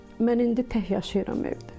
Mən indi tək yaşayıram evdə.